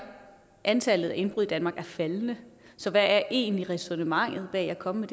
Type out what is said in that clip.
antallet af indbrud i danmark er faldende så hvad er egentlig ræsonnementet bag at komme